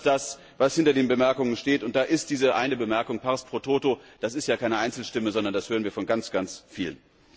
Ich glaube, das ist das, was hinter diesen Bemerkungen steht, und da ist diese eine Bemerkung pars pro toto, das ist ja keine Einzelstimme, sondern das hören wir von ganz, ganz Vielen.